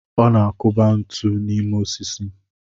Ọ na-akụba ntu n'ime osisi.